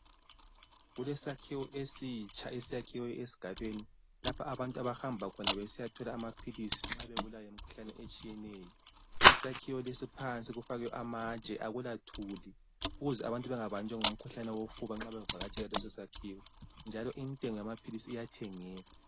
Kulesakhiwo esitsha esakhiwe esigabeni, lapha abantu abahamba khona besiyathola amaphilisi nxa bebulawa yimkhuhlane etshiyeneyo. Isakhiwo lesi phansi kufakwe amatshe akulathuli ukuze abantu bengabanjwa ngumkhuhlane wofuba nxa bevakatshela leso sakhiwo njalo intengo yamaphilisi iyathengeka.